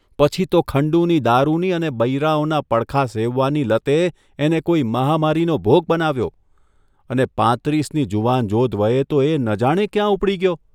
પછી તો ખંડુની દારૂની અને બૈરાઓના પડખાં સેવવાની લતે એને કોઇ મહામારીનો ભોગ બનાવ્યો અને પાંત્રીસની જુવાનજોધ વયે તો એ ન જાણે ક્યાં ઊપડી ગયો?